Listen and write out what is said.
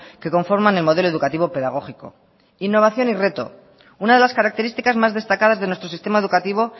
que conforman el modelo educativo pedagógico innovación y reto una de las características más destacadas de nuestro sistema educativo